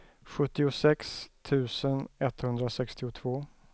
sjuttiosex tusen etthundrasextiotvå